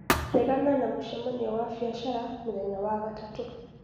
regana na mũcemanio wa biacara mũthenya wa gatatũ